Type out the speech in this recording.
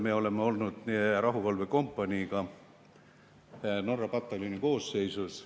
Me oleme olnud seal rahuvalvekompaniiga Norra pataljoni koosseisus.